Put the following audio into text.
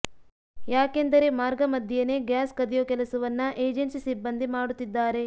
ಯಾಕೆಂದರೆ ಮಾರ್ಗ ಮಧ್ಯೆನೇ ಗ್ಯಾಸ್ ಕದಿಯೋ ಕೆಲಸವನ್ನ ಏಜೆನ್ಸಿ ಸಿಬ್ಬಂದಿ ಮಾಡುತ್ತಿದ್ದಾರೆ